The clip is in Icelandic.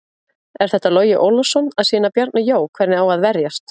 Er þetta Logi Ólafsson að sýna Bjarna Jó hvernig á að verjast?